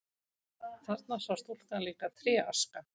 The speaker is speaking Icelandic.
Þarna sá stúlkan líka tréaska.